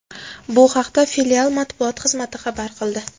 Bu haqda filial matbuot xizmati xabar qildi.